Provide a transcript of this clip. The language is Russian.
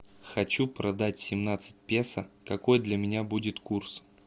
хочу продать семнадцать песо какой для меня будет курс